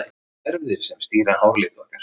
Það eru erfðir sem stýra háralit okkar.